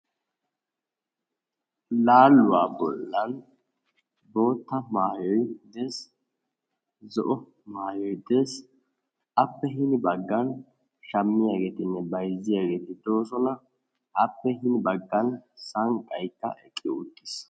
Laaluwa bollan boottaa maayoy uttiis zo"o maayoy dees appe hini baggaan shammiyaageetinne bayzziyaageeti de'oosona appe hini baggaan sanqqaykka eqqi uttiis.